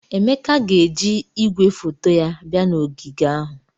Emeke ga-eji igwefoto ya bia na ogige ahụ.